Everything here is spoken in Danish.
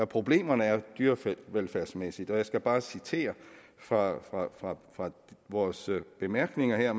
problemerne er dyrevelfærdsmæssigt og jeg skal bare citere fra fra vores bemærkninger